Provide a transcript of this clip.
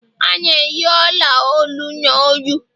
a na-eyi ola-olu n'olu